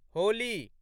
Holi